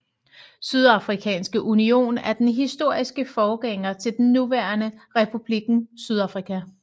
Sydafrikanske union er den historiske forgænger til den nuværende Republikken Sydafrika